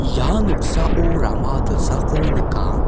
ia noksao rama dilsako nika.